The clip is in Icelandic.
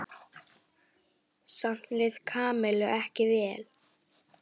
Samt leið Kamillu vel.